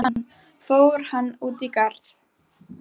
Hann: Fór hann út í garð?